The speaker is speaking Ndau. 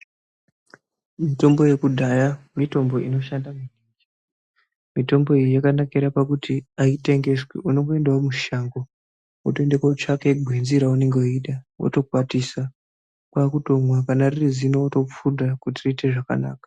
Mitombo ye kudhaya mitombo ino shanda maningi mitombo iyi yaka nakira pakuti ayi tengeswi unongo endawo mushango woto ende ko tsvake gwenzi ra unenge weida woto kwatisa kwa kutomwa kana riri zino woto pfudha kuti riite zvakanaka.